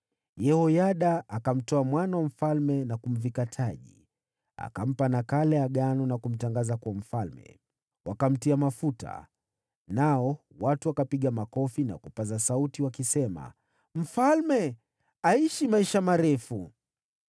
Yehoyada akamtoa mwana wa mfalme na kumvika taji, akampa nakala ya agano, na kumtangaza kuwa mfalme. Wakamtia mafuta, nao watu wakapiga makofi na kupaza sauti, wakisema, “Mfalme aishi maisha marefu!”